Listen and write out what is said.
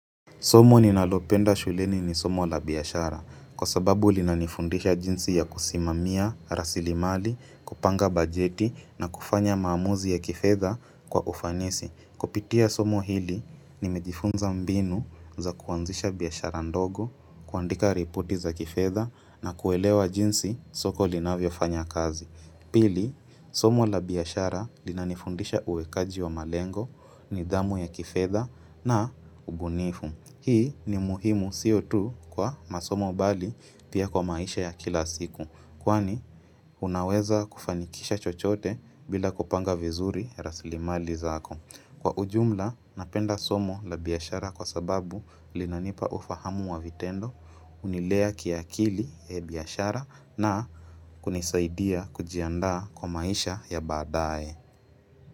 Somo ninalopenda shuleni ni somo la biashara kwa sababu linanifundisha jinsi ya kusimamia, rasilimali, kupanga bajeti na kufanya maamuzi ya kifedha kwa ufanisi. Kupitia somo hili, nimejifunza mbinu za kuanzisha biashara ndogo, kuandika ripoti za kifedha na kuelewa jinsi soko linavyofanya kazi. Pili, somo la biashara linanifundisha uwekaji wa malengo nidhamu ya kifedha na ubunifu. Hii ni muhimu sio tu kwa masomo bali pia kwa maisha ya kila siku Kwani unaweza kufanikisha chochote bila kupanga vizuri rasilimali zako Kwa ujumla napenda somo la biashara kwa sababu linanipa ufahamu wa vitendo hUnilea kiakili ya biashara na kunisaidia kujiandaa kwa maisha ya baadae.